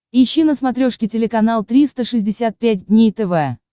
ищи на смотрешке телеканал триста шестьдесят пять дней тв